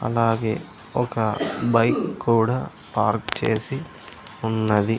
అలాగే ఒక బైక్ కూడా పార్క్ చేసి ఉన్నది.